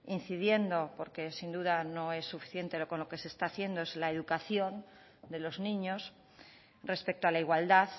incidiendo porque sin duda no es suficiente con lo que se está haciendo es la educación de los niños respecto a la igualdad